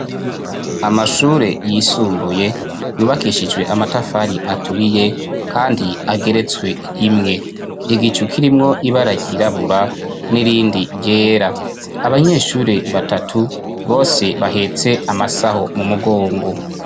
amashure yisumbuye yubakishijwe amatafari aturiye kandi ageretswe rimwe igicu kirimwo ibara ryirabura nirindi ryera abanyeshure batatu bose bahetse amasaho mu mugongo